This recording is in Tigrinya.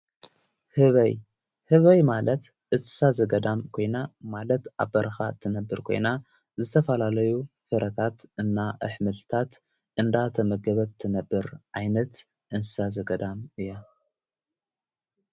ህበይ ሕበይ ማለት እሳዘገዳም ኮይና ማለት ኣ በርኻ ትነብር ኮይና ዘተፋላለዩ ፍረታት እና ኣኅምትታት እንዳተመገበት ትነብር ዓይነት እንስሳ ዘገዳም እያ።